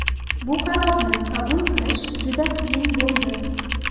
Bu qarorni qabul qilish juda qiyin bo‘ldi.